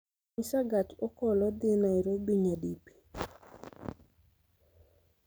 nyisa gach okolo dhi nairobi nyadipi